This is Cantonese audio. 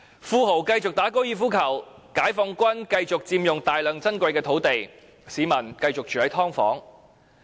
富豪繼續打高爾夫球，解放軍繼續佔用大量珍貴土地，市民繼續住"劏房"。